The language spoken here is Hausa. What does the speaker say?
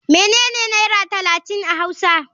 Menene naira talatin a hausa.